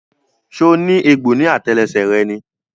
So ní egbò ní àtẹlẹsẹ̀ rẹ ni?